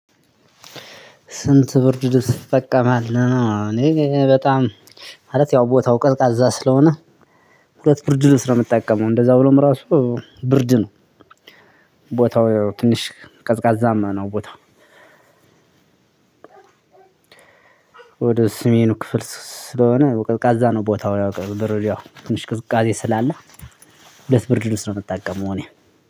ስንት? ብርድ ልብስ ትጠቀማለህ እኔ በጣም። ማለት ያው ቦታው ቀዝቃዛ ስለሆነ ሁለት ብርድ ልብስ ነው ምጠቀመው እንደዛ ሆኖም ራሱ ብርድ ነው። ቦታው ያው ትንሽ ቀዝቃዛማ ነው ቦታው። ወደ ሰሜኑ ክፍል ስለሆነ ያው ቀዝቃዛ ነው ቦታው። ያው ትንሽ ቅዝቃዜ ስላለ። ሁለት ብርድ ልብስ ነው የምጠቀመው እኔ።